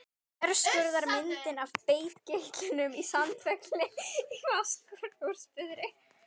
Þverskurðarmynd af bergeitlinum Sandfelli í Fáskrúðsfirði.